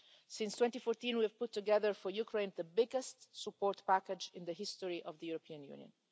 Since 2014, we have put together for Ukraine the biggest support package in the history of the European Union.